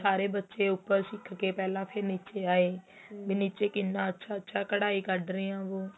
ਵੀ ਸਾਰੇ ਬੱਚੇ ਉੱਪਰ ਸਿੱਕ ਕੇ ਪਹਿਲਾਂ ਫ਼ਿਰ ਨੀਚੇ ਆਏ ਵੀ ਨੀਚੇ ਕਿੰਨਾ ਅੱਛਾ ਅੱਛਾ ਕੱਢਾਈ ਕੱਢ ਰਹੇ ਏ ਉਹ